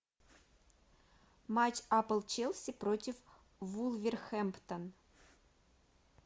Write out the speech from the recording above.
матч апл челси против вулверхэмптон